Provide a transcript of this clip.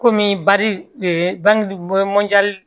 Komi bali bangi